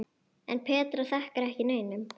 En Petra þakkar ekki neinum.